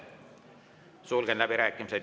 Sulgen läbirääkimised.